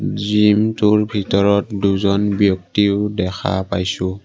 জিমটোৰ ভিতৰত দুজন ব্যক্তিও দেখা পাইছোঁ।